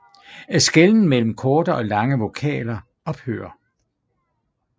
Skelnen mellem korte og lange vokaler ophører